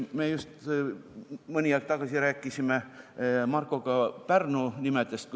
Me just mõni aeg tagasi rääkisime Markoga Pärnu nimedest.